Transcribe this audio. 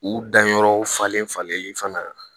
U danyɔrɔw falen falen fana